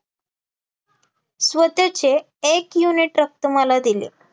स्वतःचे एक unit रक्त मला दिले